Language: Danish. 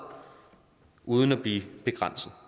uden at blive begrænset